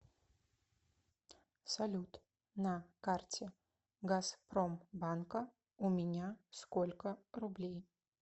салют на карте газпромбанка у меня сколько рублей